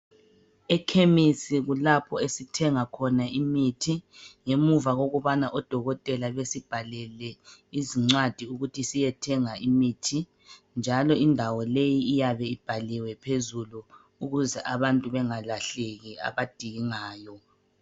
Ekhemisi kulapho esithenga khona imithi ngemuva kokubana odokotela besibhalele izincwadi ukuthi siyethenga imithi njalo indawo leyi iyabe ibhaliwe phezulu ukuze abantu bengalahleki abadingayo.